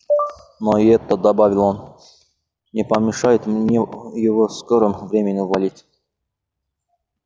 но и это добавил он не помешает мне его в скором времени уволить